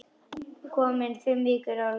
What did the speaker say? Komin fimm vikur á leið.